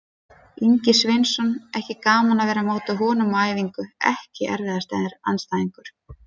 Ingvi Sveinsson, ekki gaman að vera á móti honum á æfingu EKKI erfiðasti andstæðingur?